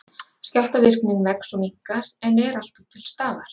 Skjálftavirknin vex og minnkar, en er alltaf til staðar.